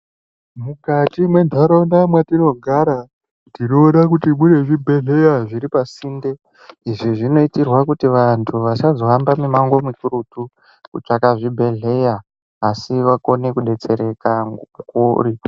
Mukati mendaraunda matinogara tinoona kuti mune zvibhedhlera zviri pasinde izvi zvinoitirwa kuti vantu vasazohamba mumango mikurutu kutsvaka zvibhedhlera asi vokwanisa kudetsereka.